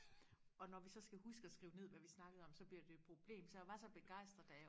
og når vi så skal huske og skrive ned hvad vi snakkede om så bliver det et problem så jeg var så begejstret da jeg